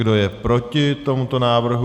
Kdo je proti tomuto návrhu?